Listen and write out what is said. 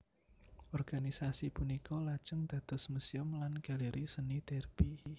Organisasi punika lajeng dados Museum lan Galeri Seni Derby